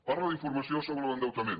parla d’informació sobre l’endeutament